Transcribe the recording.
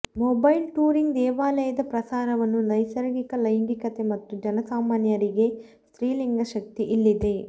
mobile touring ದೇವಾಲಯದ ಪ್ರಸಾರವನ್ನು ನೈಸರ್ಗಿಕ ಲೈಂಗಿಕತೆ ಮತ್ತು ಜನಸಾಮಾನ್ಯರಿಗೆ ಸ್ತ್ರೀಲಿಂಗ ಶಕ್ತಿ ಇಲ್ಲಿದೆ